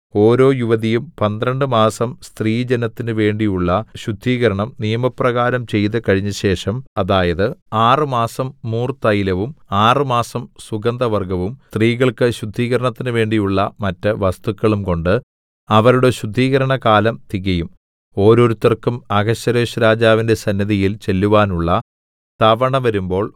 ഓരോ യുവതിയും പന്ത്രണ്ട് മാസം സ്ത്രീജനത്തിന് വേണ്ടിയുള്ള ശുദ്ധീകരണം നിയമപ്രകാരം ചെയ്തു കഴിഞ്ഞശേഷം അതായത് ആറ് മാസം മൂർതൈലവും ആറുമാസം സുഗന്ധവർഗ്ഗവും സ്ത്രീകൾക്ക് ശുദ്ധീകരണത്തിന് വേണ്ടിയുള്ള മറ്റു വസ്തുക്കളുംകൊണ്ട് അവരുടെ ശുദ്ധീകരണകാലം തികയുംഓരോരുത്തർക്കും അഹശ്വേരോശ്‌രാജാവിന്റെ സന്നിധിയിൽ ചെല്ലുവാനുള്ള തവണ വരുമ്പോൾ